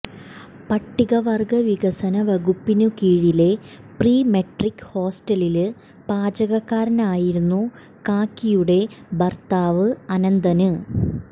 പട്ടികവര്ഗ വികസനവകുപ്പിനുകീഴിലെ pre matric ഹോസ്റ്റലില് പാചകക്കാരനായിരുന്നു കാക്കിയുടെ ഭര്ത്താവ് അനന്തന്